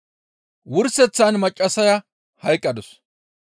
Wurseththan maccassaya hayqqadus.